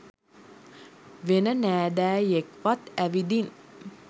වෙන නෑදෑයෙක්වත් ඇවිදින්